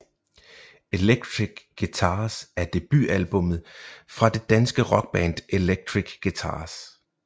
Electric Guitars er debutalbummet fra det danske rockband Electric Guitars